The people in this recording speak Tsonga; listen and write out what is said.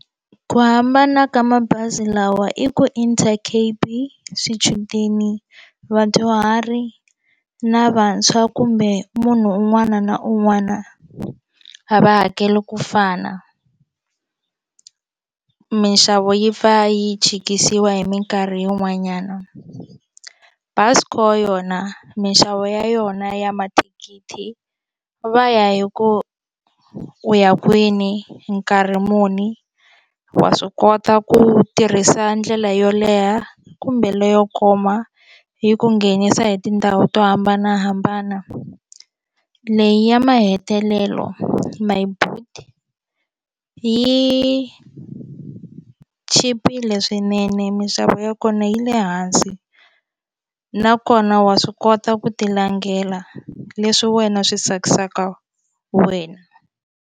Ku hambana ka mabazi lawa i ku Intercape swichudeni vadyuhari na vantshwa kumbe munhu un'wana na un'wana a va hakeli ku fana minxavo yi pfa yi chikisiwa hi minkarhi yin'wanyana Busco yona minxavo ya yona ya mathikithi va ya hi ku u ya kwini nkarhi muni wa swi kota ku tirhisa ndlela yo leha kumbe leyo koma yi ku nghenisa hi tindhawu to hambanahambana leyi ya mahetelelo Myboet yi chipile swinene mixavo ya kona yi le hansi nakona wa swi kota ku ti langela leswi wena swi tsakisaka wena.